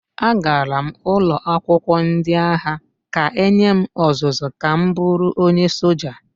Agara m ụlọ akwụkwọ ndị agha ka e nye m ọzụzụ ka m bụrụ onye soja